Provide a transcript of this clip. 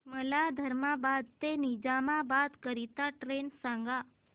मला धर्माबाद ते निजामाबाद करीता ट्रेन सांगा